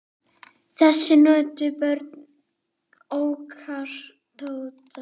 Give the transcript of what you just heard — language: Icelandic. Þess nutu börnin okkar Tótu.